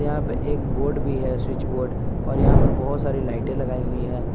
यहां पे एक बोर्ड भी है स्विच बोर्ड और यहां पर बहुत सारी लाइटें लगाई हुई हैं।